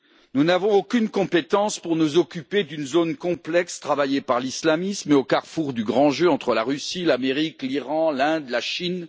Nous n'avons aucune compétence pour nous occuper d'une zone complexe travaillée par l'islamisme et au carrefour du grand jeu entre la Russie, l'Amérique, l'Iran, l'Inde et la Chine.